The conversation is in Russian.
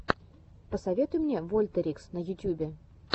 посоветуй мне вольтерикс на ютьюбе